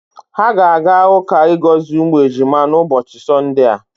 Ha ga-aga uka igozi umu ejima na ubochi sonde a.